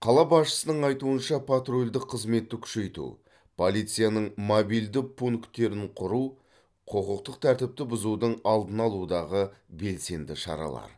қала басшысының айтуынша патрульдік қызметті күшейту полицияның мобильді пункттерін құру құқықтық тәртіпті бұзудың алдын алудағы белсенді шаралар